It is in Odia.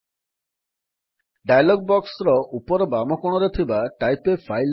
show click on the small pencil button at the top left corner of the dialog box